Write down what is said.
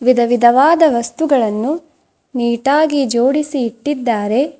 ವಿಧವಿಧವಾದ ವಸ್ತುಗಳನ್ನು ನೀಟಾಗಿ ಜೋಡಿಸಿ ಇಟ್ಟಿದ್ದಾರೆ.